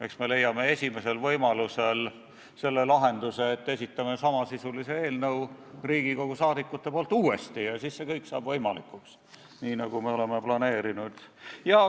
Eks me leiame esimesel võimalusel lahenduse ja esitame Riigikogu liikmete nimel uuesti samasisulise eelnõu, siis saab kõik võimalikuks nii, nagu me oleme planeerinud.